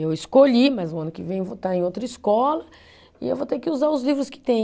Eu escolhi, mas o ano que vem eu vou estar em outra escola e eu vou ter que usar os livros que tem.